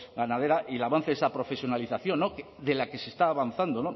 ganadera y el avance de esa profesionalización de la que se está avanzando